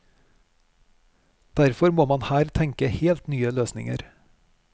Derfor må man her tenke helt nye løsninger.